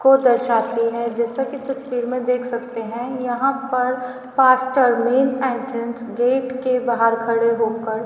को दर्शाती हैं जैसा कि तस्वीर में देख सकते है यहां पर pastor main entrance gate के बाहर खड़े होकर--